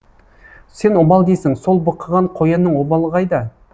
сен обал дейсің сол бықыған қоянның обалы қайда